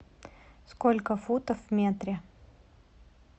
сколько футов в метре